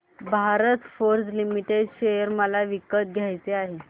Bharat Forge Limited share मला विकत घ्यायचे आहेत